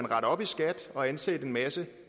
rette op i skat og ansætte en masse